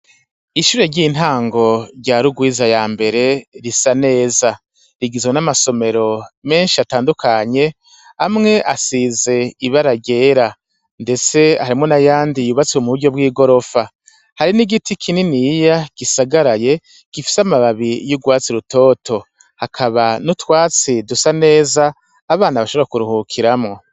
Ishure ry'intango ryari urwiza ya mbere risa neza rigizwe n'amasomero menshi atandukanye amwe asize ibara ryera, ndetse harimo na yandi yubatswe mu buryo bw'i gorofa hari n'igiti kinini yiya gisagaraye gifise amababi y'urwatsi rutoto hakaba nutwatsi dusa neza abana bashobora kuruhukiramwo.